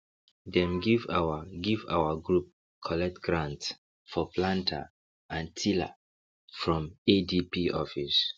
dem give our give our group collect grant for planter and tiller from adp office